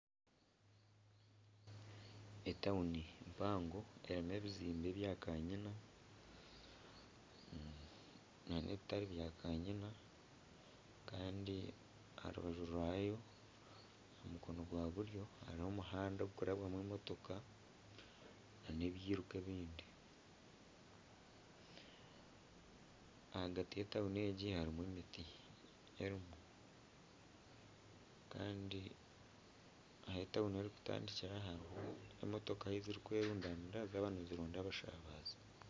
Etawuni mpango erimu ebizimbe bya kanyina na n'ebitari bya kanyina kandi aha rubaju rwayo omukono gwa buryo harimu omuhanda ogurikurabwamu emotoka na n'ebyiruka ebindi ahagati y'etawuni egi harimu emiti erimu kandi ahu etawuni erikutandikira hariho emotooka ahu zirikwerundanira zaaba nizironda abashaabazi.